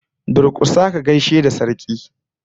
Durkusa ka gaishe da Sarki!